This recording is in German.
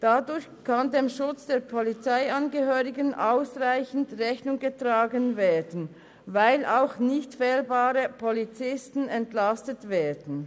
Dadurch kann dem Schutz der Polizeiangehörigen ausreichend Rechnung getragen werden, weil auch nichtfehlbare Polizisten entlastet werden.